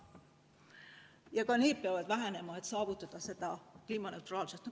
Ja ka need peavad vähenema, et saavutada kliimaneutraalsust.